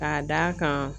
K'a d'a kan